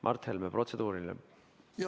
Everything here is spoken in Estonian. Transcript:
Mart Helme, protseduuriline küsimus.